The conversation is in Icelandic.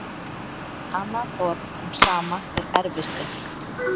Annað orð um sama er erfisdrykkja.